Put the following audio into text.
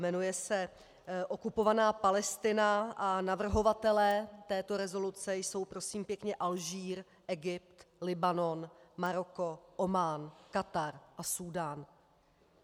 Jmenuje se Okupovaná Palestina a navrhovatelé této rezoluce jsou prosím pěkně Alžír, Egypt, Libanon, Maroko, Omán, Katar a Súdán.